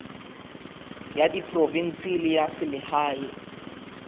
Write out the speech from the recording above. ya diprovense le ya selehae